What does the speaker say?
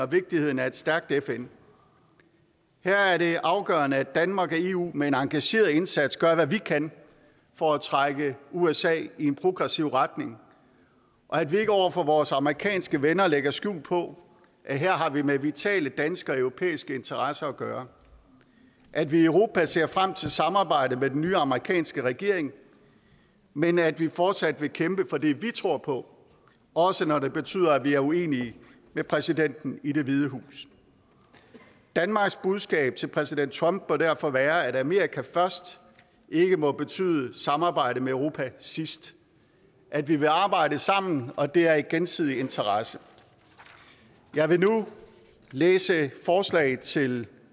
vigtigheden af et stærkt fn her er det afgørende at danmark og eu med en engageret indsats gør hvad vi kan for at trække usa i en progressiv retning og at vi ikke over for vores amerikanske venner lægger skjul på at her har vi med vitale danske og europæiske interesser at gøre at vi i europa ser frem til samarbejdet med den nye amerikanske regering men at vi fortsat vil kæmpe for det vi tror på også når det betyder at vi er uenige med præsidenten i det hvide hus danmarks budskab til præsident trump bør derfor være at amerika først ikke må betyde samarbejde med europa sidst at vi vil arbejde sammen og at det er i gensidig interesse jeg vil nu læse et forslag til